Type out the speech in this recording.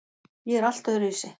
Ég er allt öðruvísi.